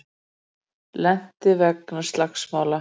Lenti vegna slagsmála